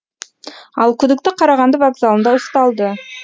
ал күдікті қарағанды вокзалында ұсталды